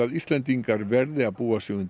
Íslendingar verða að búa sig undir